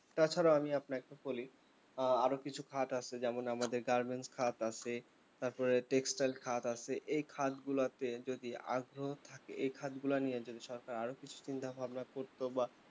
তাছাড়াও আমি আপনাকে বলি আ~ আরও কিছু খাত আছে যেমন আমাদের garment খাত আছে তারপরে textile খাত আছে এই খাত গুলো আছে যদি আরও এই খাত গুলো নিয়ে যদি সরকার আরও কিছু চিন্তাভাবনা করতো বা